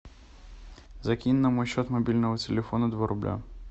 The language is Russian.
закинь на мой счет мобильного телефона два рубля